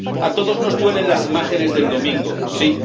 A todos nos duelen las imágenes del domingo, sí.